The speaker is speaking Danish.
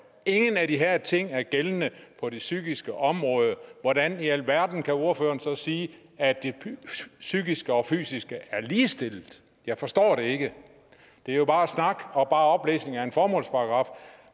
ingen af de her ting er gældende på det psykiske område hvordan i alverden kan ordføreren så sige at det psykiske og fysiske er ligestillet jeg forstår det ikke det er jo bare snak og oplæsning af en formålsparagraf